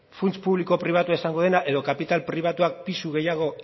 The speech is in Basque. funts publiko pribatua izango dena edo kapital pribatuak pisu gehiago